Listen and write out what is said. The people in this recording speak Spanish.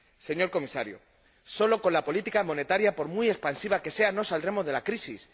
Señor Comisario, solo con la política monetaria, por muy expansiva que sea, no saldremos de la crisis.